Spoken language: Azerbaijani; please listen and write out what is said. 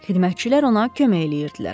Xidmətçilər ona kömək edirdilər.